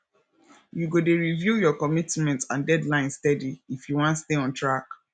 you go dey review your commitments and deadlines steady if you wan stay on track